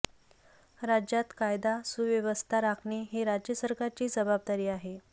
राज्यात कायदा सुव्यवस्था राखणे हे राज्य सरकारचीच जबाबदारी आहे